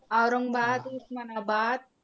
Aurangabad, Osmanabad